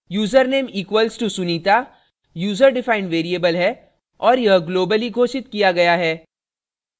username = sunita user defined variable है और यह globally घोषित किया गया है